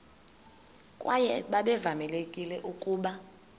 kwaye babevamelekile ukuba